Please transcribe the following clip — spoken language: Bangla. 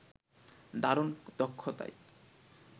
দারুণ দক্ষতায়